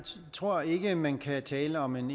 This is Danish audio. tror ikke man kan tale om en